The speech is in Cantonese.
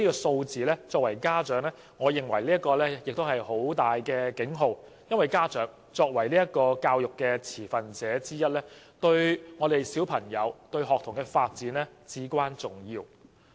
身為家長，我認為這些數字是一個重要警號，因為家長作為教育的持份者之一，對學童的發展至關重要。